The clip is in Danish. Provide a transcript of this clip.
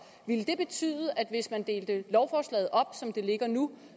ville det betyde at hvis man delte lovforslaget op som det ligger nu